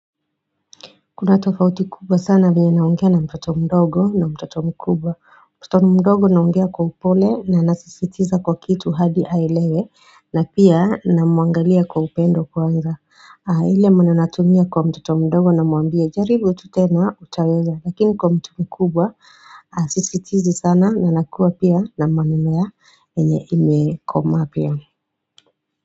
Kuna tofauti kubwa sana venye naongea na mtoto mdogo na mtoto mkubwa. Mtoto mdogo naongea kwa upole na nasisitiza kwa kitu hadi aelewe na pia namuangalia kwa upendo kwanza. Ile maneno natumia kwa mtoto mdogo namwambia jaribu tu tena utaweza. Lakini kwa mtu mkubwa sisitizi sana na nakua pia na maneno yenye imekoma pia.